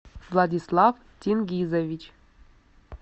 владислав тингизович